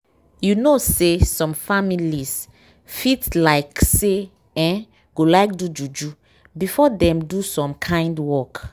you know say some families fit like say eeh go like do juju before dem do some kind work.